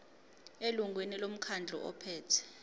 elungwini lomkhandlu ophethe